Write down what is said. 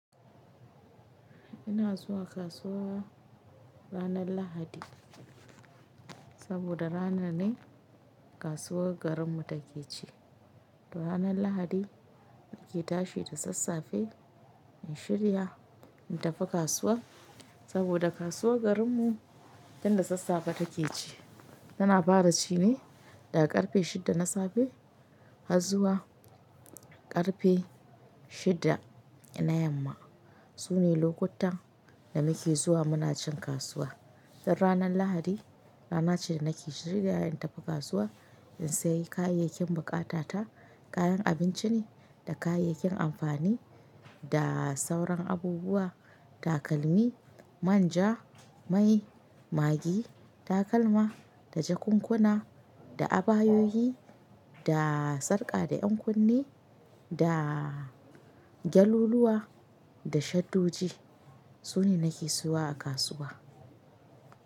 Ina zuwa kasuwa ranar lahadi saboda rana ne kasuwar garinmu take ci. Ranar lahadi muke tashi da sassafe in shirya in tafi kasuwa saboda kasuwar garinmu tin da sassafe take ci. Tana fara cine daga karfe shida na safe har zuwa karfe shida na yamma. Sune lokutan da nake zuwa muna cin kasuwa. Ranar lahadi rana ce da nake shirya in tafi kasuwa in sayi kayayyakin bukata ta. Kayan abinci ne da kayayyakin amfani da sauran abubuwa, takalmi, manja, mai maggi, takalma da jakunkuna da abayoyi da sarƙa da 'yan kunne da gyaluluwa da shaddoji. Sune nake siwa a kasuwa.